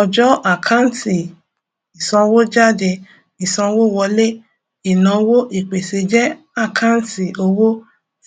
ọjọ àkáǹtì ìsanwójáde ìsanwówọlé ìnáwó ìpèsè jẹ àkáǹtì owó